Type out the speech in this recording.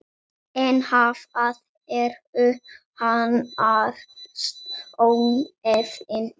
En hvað eru annars ónefni?